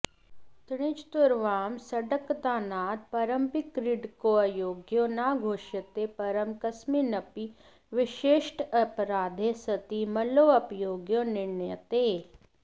त्रिचतुर्वारं सङ्कतदानात् परमपि क्रीडकोऽयोग्यो न घोष्यते परं कस्मिन्नपि विशिष्टेऽपराधे सति मल्लोऽयोग्यो निर्णीयते